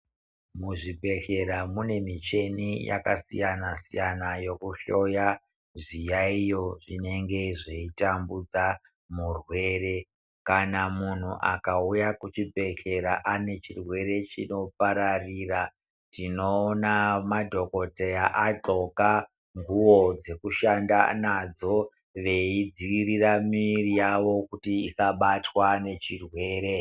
Muzvibhedhlera mune michina yakasiyana-siyana yokuhloya zviyayiyo zvinenge zveitambudza murwere. Kana muntu akauya kuchibhedhlera ane chirwere chinopararira tinoona madhokodheya adzosa nguwo dzekushanda nadzo veidziirira miviri yavo kuti isabatwa nechirwere.